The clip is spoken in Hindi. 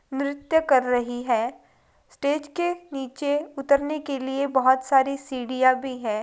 नृत्य कर रही है। स्टेज के नीचे उतरने के लिए बहोत सारी सीडियाँ भी हैं।